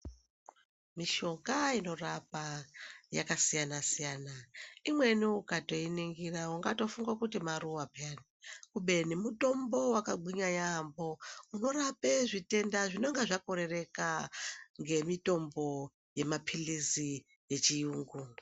Mishonga inorapa yakasiyana siyana. lmweni ukatoiningira ungatofunga kuti maruwa puyani kubeni mutombo wakagwinya yamho unorape zvitenda zvinonga zvakorereka ngemitombo yemaphirizi yechiyungu.